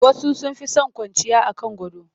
Wasu sun fi son kwanciya a kan gado